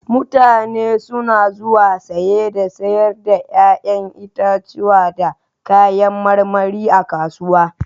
Mutane suna zuwa saye da sayar da 'ya'yan itatuwa da kayan marmari a kasuwa.